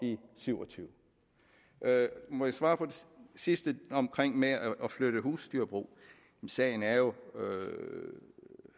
syv og tyve må jeg svare på det sidste med at flytte husdyrbrug sagen er jo